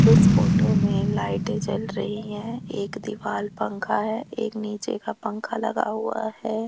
इस फोटो में लाइटें जल रही हैं एक दीवार पंखा है एक नीचे का पंखा लगा हुआ है।